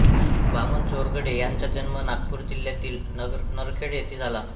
वामन चोरघडे यांचा जन्म नागपूर जिल्ह्यातील नरखेड येथे झाला